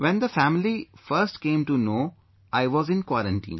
When the family first came to know, I was in quarantine